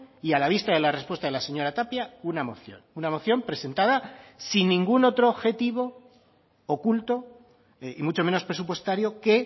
y a la vista de la respuesta de la señora tapia una moción una moción presentada sin ningún otro objetivo oculto y mucho menos presupuestario que